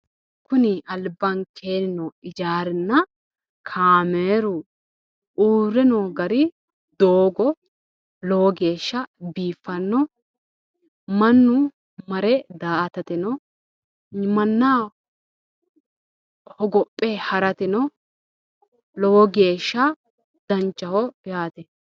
Kuni albaanke noo hijaarinna uurre noo kaameli mannu marre daa"atateno manu hogophe harateno lowo geeshsha danchaho yaate